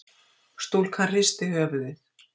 Stúlkan hristi höfuðið.